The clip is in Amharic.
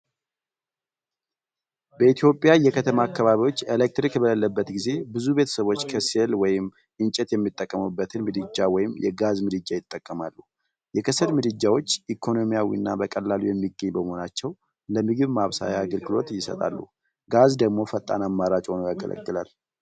በኢትዮጵያ የከተማ አካባቢዎች ኤሌክትሪክ በሌለበት ጊዜ፣ ብዙ ቤተሰቦች ከሰል ወይም እንጨት የሚጠቀሙበትን ምድጃ ወይም የጋዝ ምድጃ ይጠቀማሉ። የከሰል ምድጃዎች ኢኮኖሚያዊና በቀላሉ የሚገኙ በመሆናቸው ለምግብ ማብሰያ አገልግሎት ይሰጣሉ፤ ጋዝ ደግሞ ፈጣን አማራጭ ሆኖ ያገለግላል።